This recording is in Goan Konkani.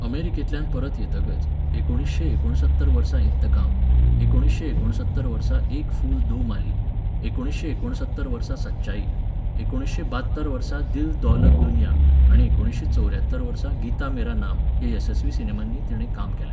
अमेरिकेंतल्यान परत येतकच एकुणिशें एकोणसत्तर वर्सा इन्तकाम, एकुणिशें एकोणसत्तर वर्सा एक फूल दो माली, एकुणिशें एकोणसत्तर वर्सा सच्चाई, एकुणिशें बात्तर वर्सा दिल दौलत दुनिया आनी एकुणिशें चौऱ्यात्तर वर्सा गीता मेरा नाम ह्या येसस्वी सिनेमांनी तिणें काम केलें.